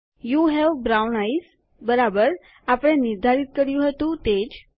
you have brown eyes બરાબર આપણે નિર્ધારિત કર્યું હતું તે જ